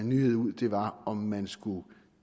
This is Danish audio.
nyhed ud var om man skulle